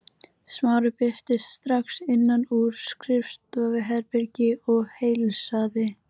Smári birtist strax innan úr skrifstofuherbergi og heilsaði